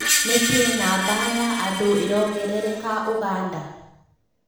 Nĩkĩĩ namba ya andũ ĩrongerereka ũganda ?